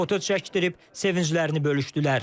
Foto çəkdirib sevinclərini bölüşdülər.